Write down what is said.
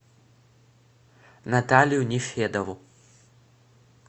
наталью нефедову